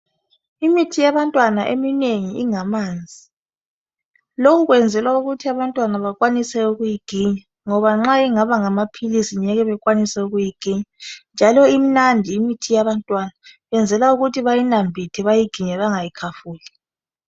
Imithi yabantwana eminengi ingamanzi , lokhu kwenzelwa ukuthi abantwana bakwanise ukuyiginya ngoba nxa ingaba ngamaphilisi ngeke bekwanise ukuyiginya njalo imnandi imithi yabantwana kwenzelwa ukuthi bayinambithe bayiginye bengayikhafuli